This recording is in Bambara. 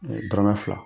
dɔrɔmɛ fila